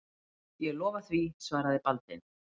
Ég lofa því, svaraði Baldvin.